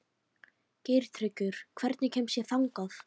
Geirtryggur, hvernig kemst ég þangað?